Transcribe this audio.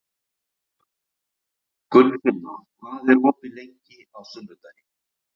Gunnfinna, hvað er opið lengi á sunnudaginn?